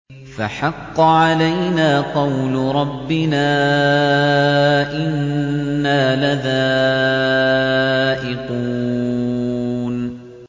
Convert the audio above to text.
فَحَقَّ عَلَيْنَا قَوْلُ رَبِّنَا ۖ إِنَّا لَذَائِقُونَ